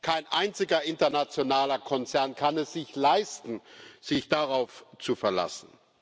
Kein einziger internationaler Konzern kann es sich leisten, sich darauf zu verlassen.